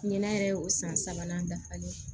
Ɲinɛ yɛrɛ y'o san sabanan dafalen ye